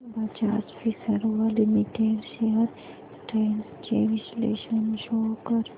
Bajaj Finserv limited shares trends चे विश्लेषण show कर